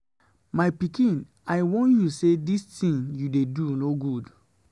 My pikin I warn you say dis thing you dey do no good.